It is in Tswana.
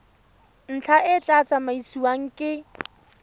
ntlha e tla tsamaisiwa ke